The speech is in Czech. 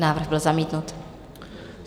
Návrh byl zamítnut.